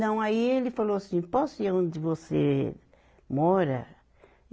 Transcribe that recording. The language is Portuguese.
Não, aí ele falou assim, posso ir aonde você mora?